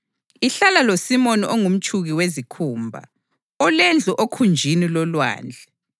Ihlala loSimoni ongumtshuki wezikhumba, olendlu okhunjini lolwandle.”